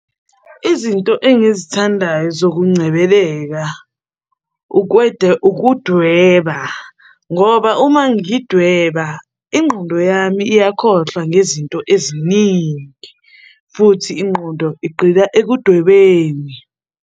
Izinto engizithandayo zokungcebeleka ukudweba, ngoba uma ngidweba, ingqondo yami iyakhohlwa ngezinto eziningi, futhi ingqondo igqila ekudwebeni.